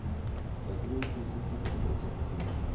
femtini tusen seks hundre og syttifire